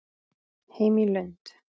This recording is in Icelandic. Heim í Lund.